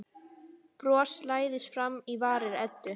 Bros læðist fram á varir Eddu.